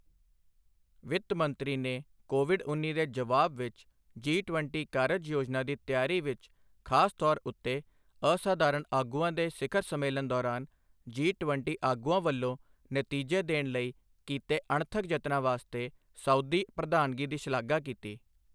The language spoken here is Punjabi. ਵਿੱਤ ਮੰਤਰੀ ਨੇ ਕੋਵਿਡ ਉੱਨੀ ਦੇ ਜਵਾਬ ਵਿੱਚ ਜੀ ਟਵੰਟੀ ਕਾਰਜ ਯੋਜਨਾ ਦੀ ਤਿਆਰੀ ਵਿੱਚ ਖਾਸ ਤੌਰ ਉੱਤੇ ਅਸਾਧਾਰਨ ਆਗੂਆਂ ਦੇ ਸਿਖ਼ਰ ਸੰਮੇਲਨ ਦੌਰਾਨ ਜੀ ਟਵੰਟੀ ਆਗੂਆਂ ਵੱਲੋਂ ਨਤੀਜੇ ਦੇਣ ਲਈ ਕੀਤੇ ਅਣਥੱਕ ਜਤਨਾਂ ਵਾਸਤੇ ਸਊਦੀ ਪ੍ਰਧਾਨਗੀ ਦੀ ਸ਼ਲਾਘਾ ਕੀਤੀ।